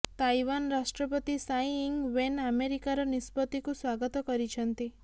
Taiwan ରାଷ୍ଟ୍ରପତି Tsai Ing Wen ଆମେରିକାର ନିଷ୍ପତ୍ତିକୁ ସ୍ବାଗତ କରିଛନ୍ତି